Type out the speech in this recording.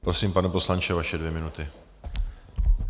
Prosím, pane poslanče, vaše dvě minuty.